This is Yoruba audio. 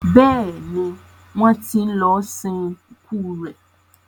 béèni wón tí lọ sin ikú rẹ.